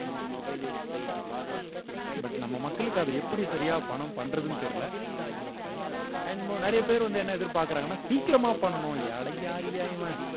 but நம்ம மக்களுக்கு அதை எப்படி சரியா பணம் பண்றதுன்னு தெரியல and நிறைய பேர் வந்து என்ன எதிர்பார்க்கிறாங்கன்னா சீக்கிரமா பண்ணணும் அட யாருயா இவன்